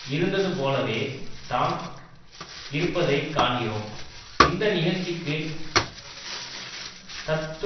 இருந்ததுபோலவே தான் இருப்பதை காண்கிறோம் இந்த இகழ்ச்சிக்கு தத்து